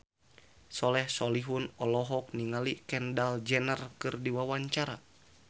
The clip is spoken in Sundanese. Soleh Solihun olohok ningali Kendall Jenner keur diwawancara